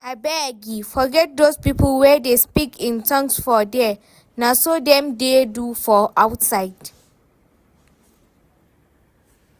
Abegii forget doz people wey dey speak in tongues for there, na so dem dey do for outside